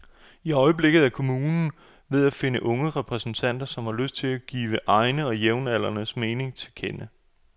I øjeblikket er kommunen ved at finde unge repræsentanter, som har lyst til at give egne og jævnaldrendes mening til kende.